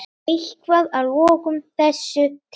Eitthvað að lokum þessu tengt?